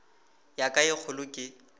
ya ka ye kgolo ke